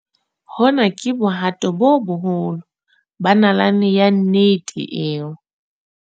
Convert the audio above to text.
Hona ke bohato bo boholo ba nalane ya nnete eo.